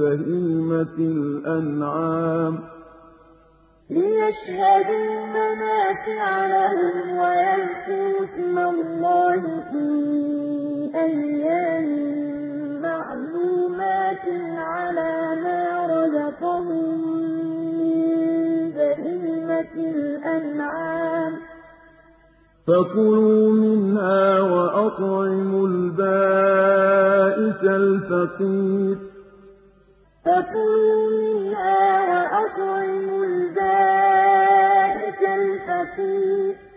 بَهِيمَةِ الْأَنْعَامِ ۖ فَكُلُوا مِنْهَا وَأَطْعِمُوا الْبَائِسَ الْفَقِيرَ لِّيَشْهَدُوا مَنَافِعَ لَهُمْ وَيَذْكُرُوا اسْمَ اللَّهِ فِي أَيَّامٍ مَّعْلُومَاتٍ عَلَىٰ مَا رَزَقَهُم مِّن بَهِيمَةِ الْأَنْعَامِ ۖ فَكُلُوا مِنْهَا وَأَطْعِمُوا الْبَائِسَ الْفَقِيرَ